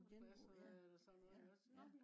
på genbrug ja ja